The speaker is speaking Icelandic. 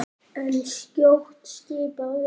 En skjótt skipast veður.